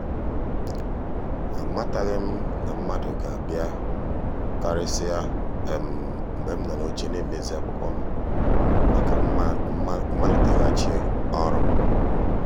ammataghị m na mmadụ ga-abịa karịsịa um mgbe m nọ n’oche na-emezi akwụkwọ m maka maliteghachi ọrụ. um